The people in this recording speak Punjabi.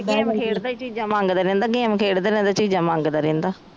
ਗੇਮ ਖੇਡ ਦਾ ਈ ਚੀਜਾਂ ਮੰਗਦਾ ਰਹਿੰਦਾ ਗੇਮ ਖੇਡਦਾ ਰਹਿੰਦਾ ਚੀਜਾਂ ਮੰਗਦਾ ਰਹਿੰਦਾ